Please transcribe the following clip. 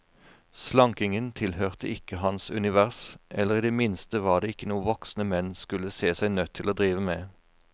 Slankingen tilhørte ikke hans univers, eller i det minste var det ikke noe voksne menn skulle se seg nødt til å drive med.